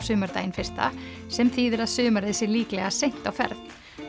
sumardaginn fyrsta sem þýðir að sumarið sé líklega seint á ferð